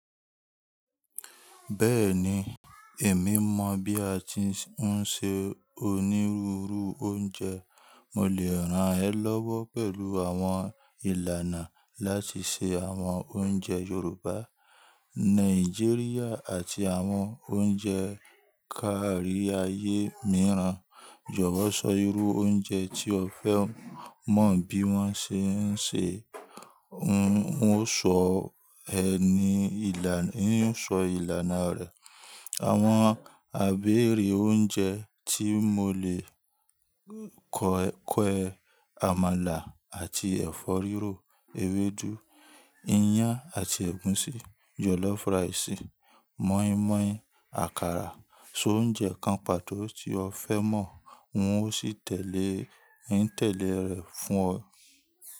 Bẹ́ẹ̀ni, èmi mọ̀ bí a ti ń se onírúurú oúnjẹ. Mo le rán ẹ lọ́wọ́ pẹ̀lú àwọn ìlànà láti se àwọn oúnjẹ Yorùbá, Nàìjíríà, àti àwọn oúnjẹ káàrí ayé mìíràn. Jọ̀wọ́ sọ irú oúnjẹ tí ẹ fẹ́ mọ̀ bí wọ́n ṣe ń sè, n ó sọ ìlànà rẹ̀. Àwọn abere oúnjẹ tí mo le kọ ẹ: Àmàlà àti ẹ̀fọ́ rírò, ewédú, iyán àti ẹ̀gúsí, jọ̀lọ́fù ráisí, mọ́ímọ́í, àkàrà. So oúnjẹ kan pàtó tí ọ fẹ́ mọ̀, n ó sì tẹ̀lé ìtẹ́le rẹ̀ fún ọ.